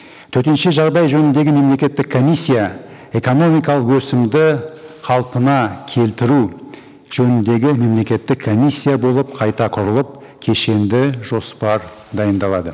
төтенше жағдай жөніндегі мемлекеттік комиссия экономикалық өсімді қалпына келтіру жөніндегі мемлекеттік комиссия болып қайта құрылып кешенді жоспар дайындалады